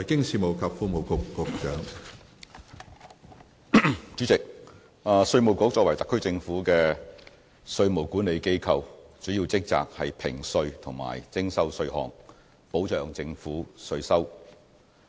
主席，稅務局作為特區政府的稅務管理機構，主要職責是評稅及徵收稅項，保障政府稅收。